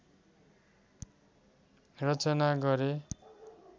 रचना गरे